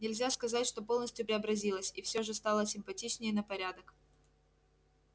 нельзя сказать что полностью преобразилась и все же стала симпатичнее на порядок